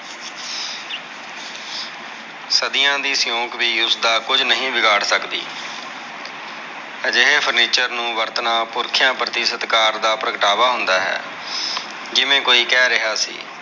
ਸਦੀਆਂ ਦੀ ਸਿਓਂਕ ਵੀ ਉਸਦਾ ਕੁਜ ਨਹੀਂ ਵਿਗਾੜ ਸਕਦੀ ਅਜਿਹੇ furniture ਨੂੰ ਵਰਤਣਾ ਪੁਰਖਿਆਂ ਪ੍ਰਤੀ ਸਤਕਾਰ ਦਾ ਪ੍ਰਗਟਾਂਵਾਂ ਹੁੰਦਾ ਹੈ ਜਿਵੇਂ ਕੋਇ ਕਹਿ ਰਿਹਾ ਸੀ।